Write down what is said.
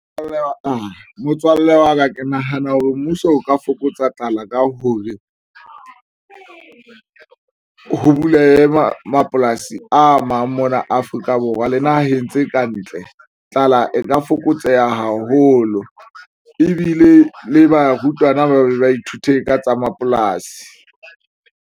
Motswalle wa ka ke nahana hore mmuso o ka fokotsa tlala ka hore ho bulehe mapolasi a mang mona Afrika Borwa le naheng tse kantle tlala e ka fokotseha haholo ebile le barutwana ba be ba ithute ka tsa mapolasi.